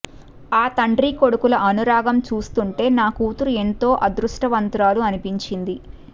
ఆ తండ్రి కొడుకుల అనురాగం చూస్తుంటే నా కూతురు ఎంతో అదృష్టవంతురాలు అనిపించింది